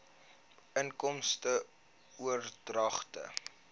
inkomste oordragte